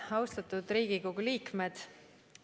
Austatud Riigikogu liikmed!